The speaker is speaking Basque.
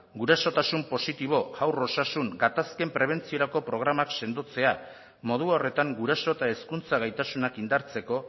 gurasotasun positibo haur osasun gatazken prebentziorako programak sendotzea modu horretan guraso eta hezkuntza gaitasunak indartzeko